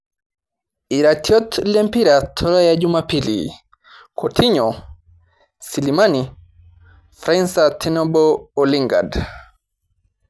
Iratiot lempira tolaya jumapili: kotinyo, silimani, Fraiser tenebo o lingand